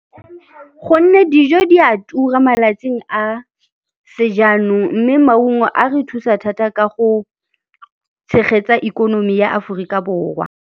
Gonne dijo di a tura malatsing a sejanong mme maungo a re thusa thata ka go tshegetsa ikonomi ya Aforika Borwa.